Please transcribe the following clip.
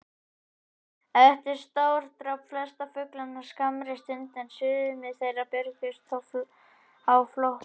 Eitrið strádrap flesta fuglana á skammri stund, en sumir þeirra björguðust þó á flótta.